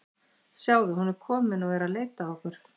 Sjáðu, hún er komin og er að leita að okkur.